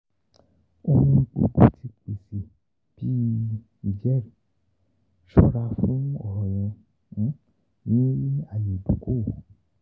Ohun gbogbo ti pese bi “ijẹri;” ṣọra fun ọrọ yẹn ni aaye idoko-owo.